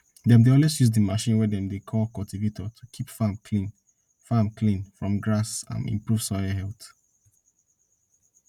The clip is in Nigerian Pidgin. dem dey always use the machine wey dem dey call cultivator to keep farm clean farm clean from grass and improve soil health